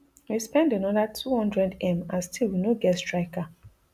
we spend anoda two hundredm and still we no get striker